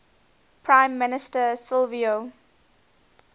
prime minister silvio